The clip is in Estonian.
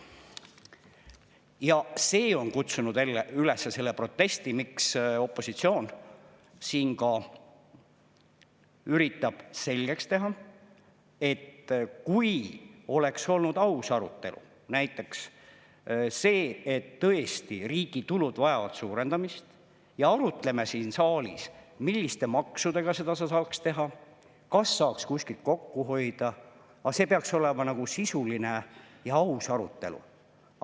Ja see on kutsunud üles selle protesti, miks opositsioon siin ka üritab selgeks teha, et kui oleks olnud aus arutelu, näiteks see, et tõesti riigi tulud vajavad suurendamist ja arutleme siin saalis, milliste maksudega seda saaks teha, kas saaks kuskilt kokku hoida, aga see peaks olema sisuline ja aus arutelu.